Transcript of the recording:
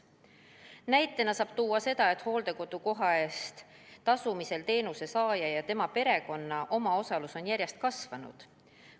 Näitena saab tuua, et hooldekodukoha eest tasumisel on teenuse saaja ja tema perekonna omaosalus järjest kasvanud.